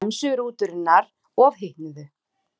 Bremsur rútunnar ofhitnuðu